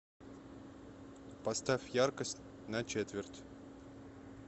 поставь яркость на четверть